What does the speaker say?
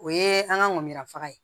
O ye an ka ŋɔmuya faga ye